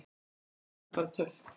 Mér fannst það bara. töff.